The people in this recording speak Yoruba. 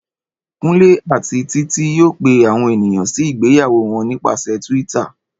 Kúnlé àti Títí yóò pe àwọn ènìyàn sí ìgbéyàwó wọn nípasẹ̀ Twitter